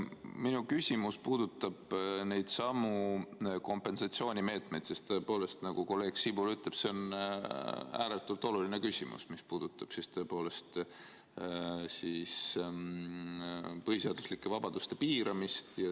Minu küsimus puudutab kompensatsioonimeetmeid, sest tõepoolest, nagu kolleeg Sibul ütleb, see on ääretult oluline küsimus, mis puudutab tõepoolest põhiseaduslike vabaduste piiramist.